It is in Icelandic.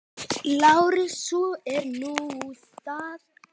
LÁRUS: Svo er nú það.